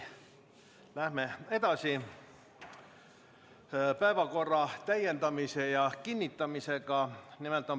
Läheme edasi päevakorra täiendamise ja kinnitamisega.